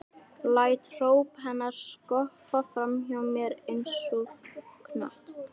Læt hróp hennar skoppa fram hjá mér einsog knött.